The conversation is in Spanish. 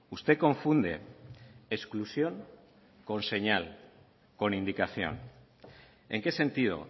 usted confunde exclusión con señal con indicación en qué sentido